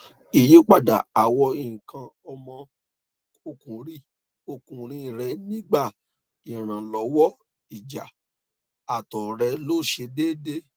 iyipada awo ikan omo okunri okunri re nigba iranlowoija ato re no se deede